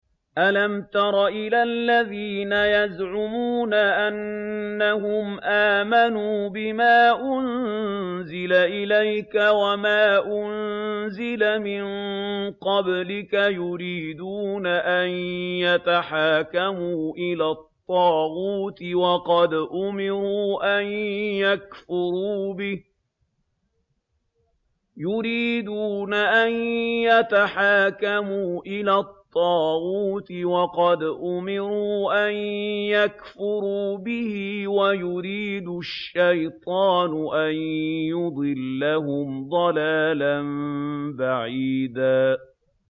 أَلَمْ تَرَ إِلَى الَّذِينَ يَزْعُمُونَ أَنَّهُمْ آمَنُوا بِمَا أُنزِلَ إِلَيْكَ وَمَا أُنزِلَ مِن قَبْلِكَ يُرِيدُونَ أَن يَتَحَاكَمُوا إِلَى الطَّاغُوتِ وَقَدْ أُمِرُوا أَن يَكْفُرُوا بِهِ وَيُرِيدُ الشَّيْطَانُ أَن يُضِلَّهُمْ ضَلَالًا بَعِيدًا